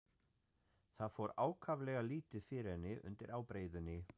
Það fór ákaflega lítið fyrir henni undir ábreiðunni.